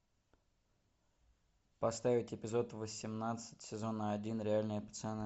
поставить эпизод восемнадцать сезона один реальные пацаны